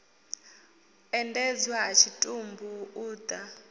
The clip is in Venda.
endedzwa ha tshitumbu u ḓa